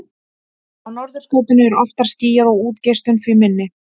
Á norðurskautinu er oftar skýjað og útgeislun því minni.